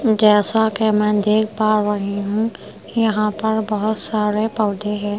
जैसा कि मैं देख पा रही हूं यहां पर बहोत सारे पौधे हैं।